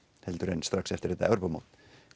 heldur en strax eftir þetta Evrópumót